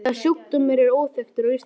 Þessi sjúkdómur er óþekktur á Íslandi.